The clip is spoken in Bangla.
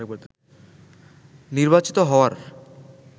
নির্বাচিত হওয়ার